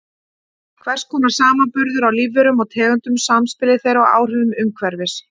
Hvers konar samanburður á lífverum og tegundum, samspili þeirra og áhrifum umhverfis.